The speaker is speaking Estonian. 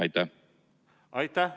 Aitäh!